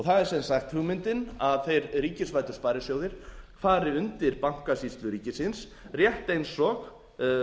það er sem sagt hugmyndin að þeir ríkisvæddu sparisjóðir fari undir bankasýslu ríkisins rétt eins og